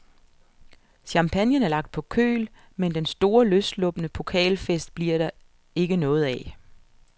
Champagnen er lagt på køl, men den store, løsslupne pokalfest bliver der ikke noget af.